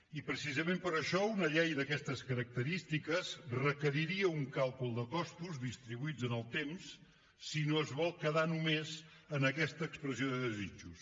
i precisament per això una llei d’aquestes característiques requeriria un càlcul de costos distribuïts en el temps si no es vol quedar només en aquesta expressió de desitjos